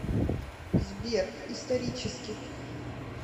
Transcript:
сбер исторически